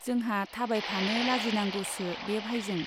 जोंहा थाबायफानो लाजिनांगौसो बे भाइजों।